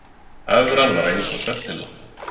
Evran var eins og svefnpilla